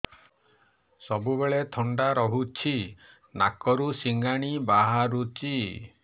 ସବୁବେଳେ ଥଣ୍ଡା ରହୁଛି ନାକରୁ ସିଙ୍ଗାଣି ବାହାରୁଚି